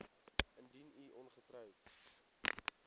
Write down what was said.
indien u ongetroud